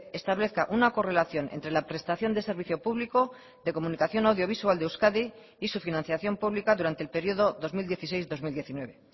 establezca una correlación entre la prestación de servicio público de comunicación audiovisual de euskadi y su financiación pública durante el periodo dos mil dieciséis dos mil diecinueve